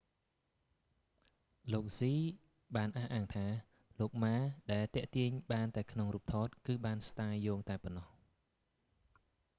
លោកស៊ីហ៍ hsieh បានអះអាងថា លោក ម៉ា ដែលទាក់ទាញបានតែក្នុងរូបថតគឺបានស្តាយយោងតែប៉ុណ្ណោះ